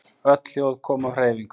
Öll hljóð koma af hreyfingu